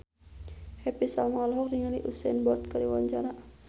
Happy Salma olohok ningali Usain Bolt keur diwawancara